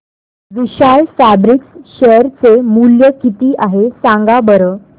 विशाल fabrics share चे मूल्य किती आहे सांगा बरं